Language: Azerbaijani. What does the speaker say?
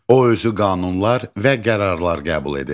O özü qanunlar və qərarlar qəbul edir.